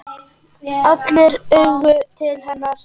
Allra augu litu til hennar.